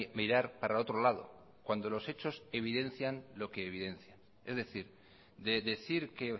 mirar para otro lado cuando los hechos evidencian lo que evidencia es decir de decir que